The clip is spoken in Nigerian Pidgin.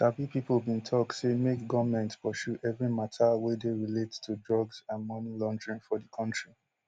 sabi pipo bin tok say make goment pursue every mata way dey relate to drugs and money laundering for di kontri